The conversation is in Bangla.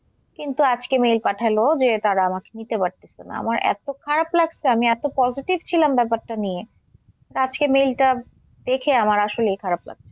কিন্তু আজকে mail পাঠালো যে তারা আমাকে নিতে পারতেসে না। আমার এত খারাপ লাগছে আমি এত positive ছিলাম ব্যাপারটা নিয়ে আজকে mail টা দেখে আমার আসলেই খারাপ লাগছে।